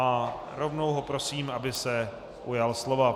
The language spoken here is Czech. A rovnou ho prosím, aby se ujal slova.